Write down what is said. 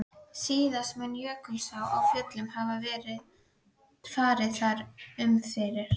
Síðast mun Jökulsá á Fjöllum hafa farið þar um fyrir